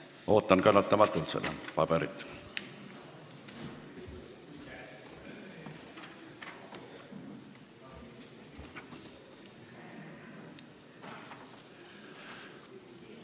Ootan kannatamatult seda paberit.